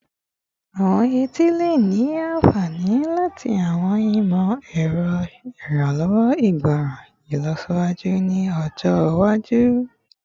Awọn eti le ni anfani lati awọn imọ-ẹrọ iranlọwọ igbọran ilọsiwaju ni ọjọ iwaju